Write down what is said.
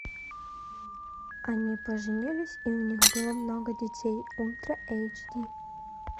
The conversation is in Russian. они поженились и у них было много детей ультра эйч ди